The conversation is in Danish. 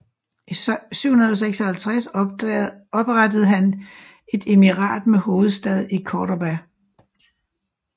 I 756 oprettede han et emirat med hovedstad i Córdoba